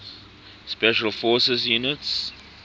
special forces units